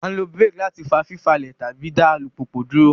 A nlo brake láti fa fifalẹ tàbí dá alupupu dúró